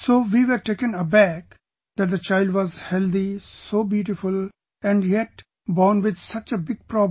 So we were taken aback that the child was healthy...so beautiful and yet born with such a big problem